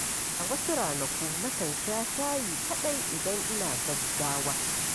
A wasu ranaku, nakan sha shayi kaɗai idan ina gaggawa.